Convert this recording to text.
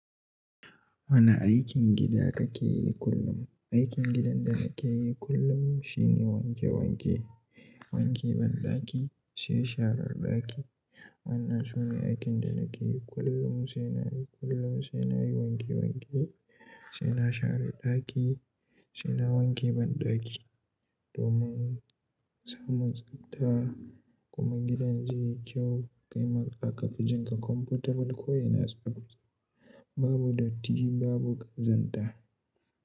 Wane aikin gida kake yi kullum? Aikin gidan da nake yi kullum, shine wanke wanke, wanke banɗaki, sai sharar ɗaki. Wannan su ne aikin da nake yi kullum, sai na yi kullum, sai na yi wanke wanke, sai na share ɗaki, sai na wanke banɗaki domin samun tsabta, kuma gidan yayi kyau. Kaima zaka fi jinƙa comfortable ko'ina tsabta. Babu datti, babu ƙazanta.